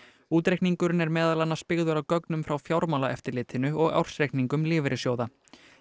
útreikningurinn er meðal annars byggður á gögnum frá Fjármálaeftirlitinu og ársreikningum lífeyrissjóða